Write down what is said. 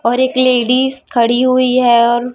और एक लेडिस खड़ी हुई है और--